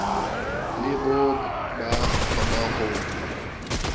le bo ka kgonwang ho